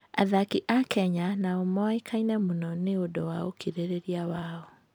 Athaki a Kenya nĩ moĩkaine mũno nĩ ũndũ wa ũkirĩrĩria wao.